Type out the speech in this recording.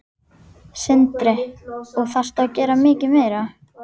Sindri: Og þarftu að gera mikið meira?